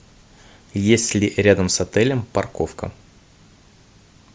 есть ли рядом с отелем парковка